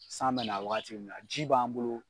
San bɛ na wagati mun na ji b'an bolo.